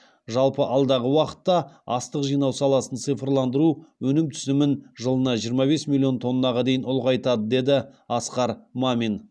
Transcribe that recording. жалпы алдағы уақытта астық жинау саласын цифрландыру өнім түсімін жылына жиырма бес миллион тоннаға дейін ұлғайтады деді асқар мамин